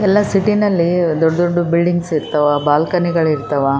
ಬಂದ್ಮೇಲೆ ಅವ್ರು ಸ್ವಲ್ಪ ಕುಂತ್ಕೊಂಡು ಬಾಲ್ಕನಿ ಹತ್ತ್ರಾ ಒಂದ್ ಸ್ವಲ್ಪಾ ರೆಸ್ಟ್ ತೊಗೋಬೇಕ್ ಅಂತಿರ್ತಾರ.